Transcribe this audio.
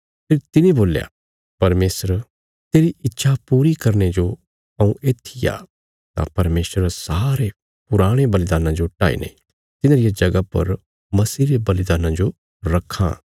फेरी तिने बोल्या परमेशर तेरी इच्छा पूरी करने जो हऊँ येत्थी आ तां परमेशर सारे पुराणे बलिदान्नां जो हटाईने तिन्हां रिया जगह पर मसीह रे बलिदान्ना जो रखां